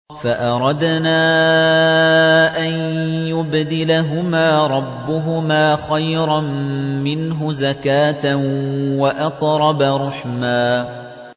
فَأَرَدْنَا أَن يُبْدِلَهُمَا رَبُّهُمَا خَيْرًا مِّنْهُ زَكَاةً وَأَقْرَبَ رُحْمًا